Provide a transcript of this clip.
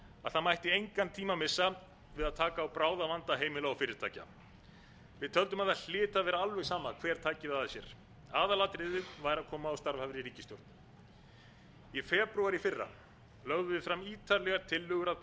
að það mætti engan tíma missa við að taka á bráðavanda heimila og fyrirtækja við töldum að það hlyti að vera alveg sama hver tæki það að sér aðalatriðið væri að koma á starfhæfri ríkisstjórn í febrúar í fyrra lögðum við fram ítarlegar tillögur að bráðaaðgerðum í efnahagsmálum þar sem